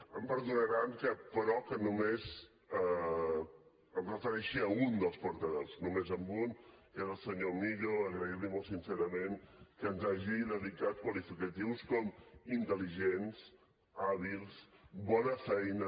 em perdonaran però que només em refereixi a un senyor millo agrair li molt sincerament que ens hagi dedicat qualificatius com intel·ligents hàbils bona feina